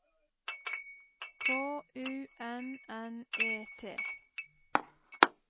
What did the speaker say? K U N N E T